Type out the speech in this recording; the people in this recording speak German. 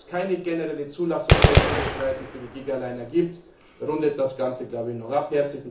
Dass es keine generelle Zulassung grenzüberschreitend für die Gigaliner gibt, rundet das Ganze noch ab.